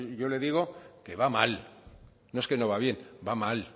yo le digo que va mal no es que no va bien va mal